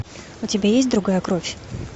у тебя есть другая кровь